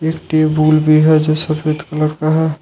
एक टेबुल भी है जो सफेद कलर का है।